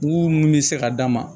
Mugu min bɛ se ka d'a ma